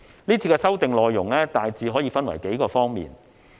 這次的修訂內容大致可分為數方面。